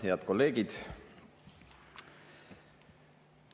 Head kolleegid!